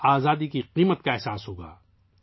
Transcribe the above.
ہم آزادی کی قدر کو سمجھیں گے